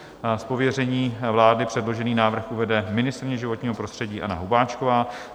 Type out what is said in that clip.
Z pověření vlády předložený návrh uvede ministryně životního prostředí Anna Hubáčková.